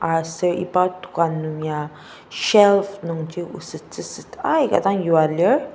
aser iba dokan nungya shelf nungji osettsüset aika dang yua lir.